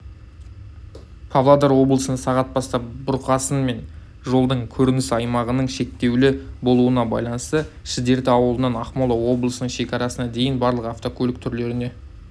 павлодар облысында сағат бастап бұрқасын мен жолдың көрініс аймағының шектеулі болуына байланысты шідерті ауылынан ақмола облысының шекарасына дейін барлық көлік түрлеріне